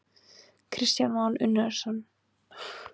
Kristján Már Unnarsson: Hvað ætlið þið að gera við þessar vélar?